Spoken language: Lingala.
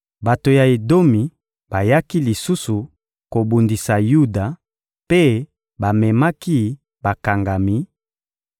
Bato ya Edomi bayaki lisusu kobundisa Yuda mpe bamemaki bakangami,